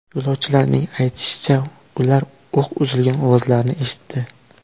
Yo‘lovchilarning aytishicha, ular o‘q uzilgan ovozlarni eshitdi.